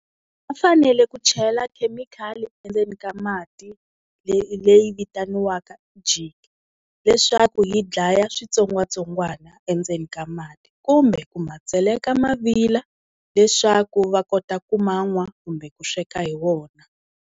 Va fanele ku chela khemikhali endzeni ka mati leyi vitaniwaka jik leswaku yi dlaya switsongwatsongwana endzeni ka mati, kumbe ku ma tseleka mavila leswaku va kota ku ma nwa kumbe ku sweka hi wona.